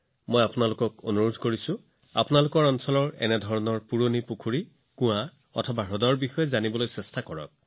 মই আপোনালোক সকলোকে আপোনালোকৰ অঞ্চলৰ এনে পুৰণি পুখুৰী কুঁৱা আৰু হ্ৰদৰ বিষয়ে জানিবলৈ অনুৰোধ জনাইছো